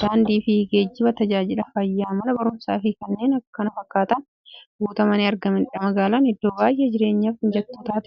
daandiifi geejjiba, taajajila fayyaa, Mana baruumsaafi kanneen kana fakkatan guutamanii argamaniidha. Magaalan iddoo baay'ee jireenyaf mijattuu taateedha.